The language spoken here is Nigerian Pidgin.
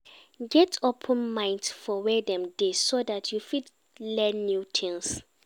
Get open mind for where dem dey so that you fit learn new things